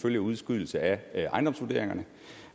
følge af udskydelse af ejendomsvurderingerne